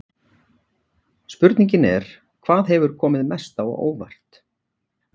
Spurningin er: Hvað hefur komið mest á óvart?